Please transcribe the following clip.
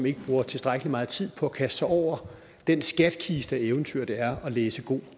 ikke bruger tilstrækkelig meget tid på at kaste sig over den skattekiste af eventyr det er at læse god